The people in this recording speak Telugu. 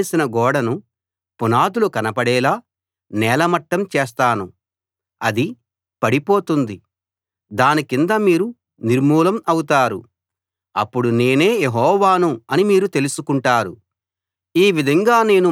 మీరు సున్నం వేసిన గోడను పునాదులు కనపడేలా నేలమట్టం చేస్తాను అది పడిపోతుంది దాని కింద మీరూ నిర్మూలం అవుతారు అప్పుడు నేనే యెహోవాను అని మీరు తెలుసుకుంటారు